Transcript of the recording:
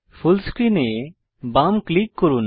ফুল screen এ বাম click করুন